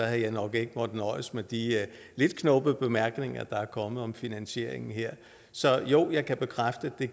jeg nok ikke måtte nøjes med de lidt knubbede bemærkninger der er kommet om finansieringen her så jo jeg kan bekræfte at